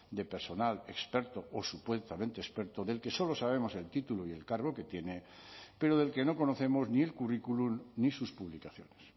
de personal experto o supuestamente experto del que solo sabemos el título y el cargo que tiene pero del que no conocemos ni el currículum ni sus publicaciones